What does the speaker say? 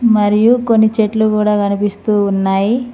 మరియు కొన్ని చెట్లు కూడా కనిపిస్తూ ఉన్నాయి.